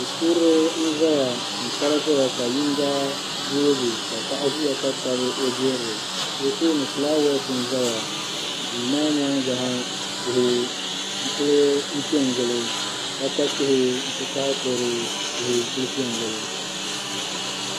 Du'kurili n-zaya m-kpari zaya ka yiŋga yoogi ka paɣa ʒiya ka tabi o jirili o tooni fulaawaasi n-za duu maa nyaaŋa ha tihi n-kuli pe n-gili kpakpa tihi nti pahi kudu tihi n-kuli pe n-gili